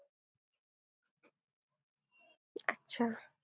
अच्छा.